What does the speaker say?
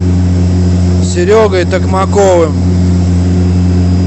серегой токмаковым